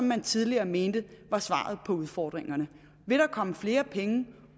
man tidligere mente var svaret på udfordringerne vil der komme flere penge